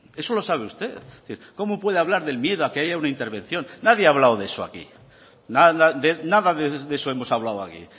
eso lo sabe usted es decir cómo puede hablar del miedo a que haya una intervención nadie ha hablado de eso aquí nada de eso hemos hablado aquí